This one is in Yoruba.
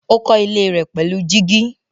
Ó kọ́ ilé rẹ̀ pẹ̀lú gíjí.